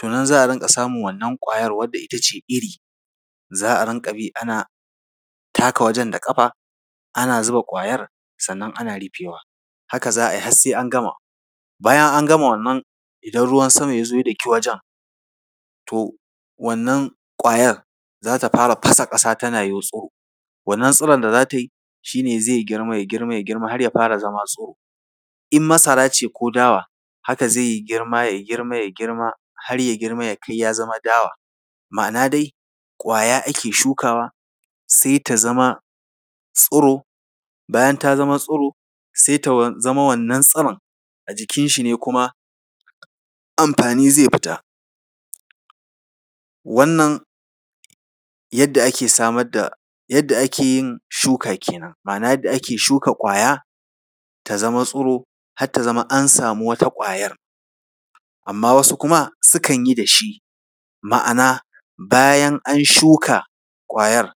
To nan za a rinƙa samun wannan ƙwayar wadda ita ce iri, za a rinƙa bi ana taka wajen da ƙafa, ana zuba ƙwayar, sannan ana rufewa. Haka za a yi har sai an gama. Bayan an gama wannan, idan ruwan sama ya zo ya doki wajen, to wannan ƙwayar za ta fara fasa ƙasa, tana yotso. Wannan tsiron da za ta yi shi ne zai girma, ya girma, ya girma har ya fara zama tsiro. In masara ce ko dawa, haka zai yi girma, ya girma, ya girma, har ya girma ya kai ya zama dawa. Ma’ana dai ƙwaya ake shukawa, sai ta zama tsiro. Bayan ta zama tsiro, sai ta zama wannan tsiron. A jikinshi ne kuma amfani zai fita. Wannan, yadda ake samar da yadda ake yin shuka kenan, ma’ana yadda ake shuka ƙwaya, ta zama tsiro, har ta zama an samu wata ƙwayar. Amma wasu kuma, sukan yi dashi, ma’ana bayan an shuka ƙwayar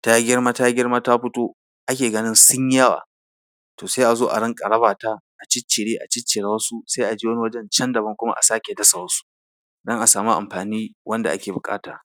ta girma, ta girma, ta fito, ake ganin sun yi yawa, to sai a zo a rinƙa raba ta, a ciccire, a ciccire wasu, sai a je wani wajen can daban kuma, a sake dasa wasu don a samu amfani wanda ake buƙata.